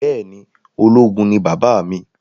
Bẹẹni ológun ni bàbá mi